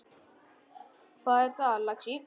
Hvað er það, lagsi?